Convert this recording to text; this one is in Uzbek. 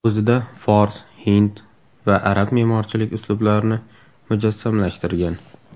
O‘zida fors, hind va arab me’morchilik uslublarini mujassamlashtirgan.